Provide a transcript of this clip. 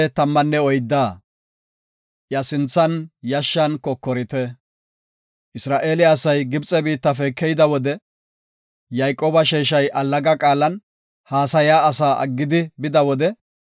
Isra7eele asay Gibxe biittafe keyida wode, Yayqooba sheeshay allaga qaalan, haasaya asaa aggidi bida wode,